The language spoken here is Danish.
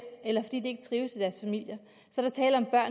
eller fordi de ikke trives